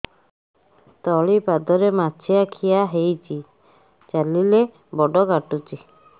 ତଳିପାଦରେ ମାଛିଆ ଖିଆ ହେଇଚି ଚାଲିଲେ ବଡ଼ କାଟୁଚି